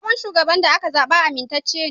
Sabon shugaban da aka zaɓa amintacce ne.